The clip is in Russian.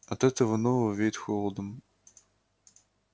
от этого нового веет холодом